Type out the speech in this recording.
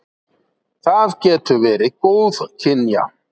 Það getur verið góðkynja.